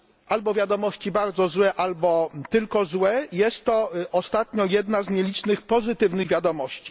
albo wiadomości bardzo złe, albo tylko złe, jest to ostatnio jedna z nielicznych pozytywnych wiadomości.